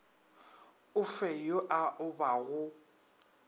o fe yo a obago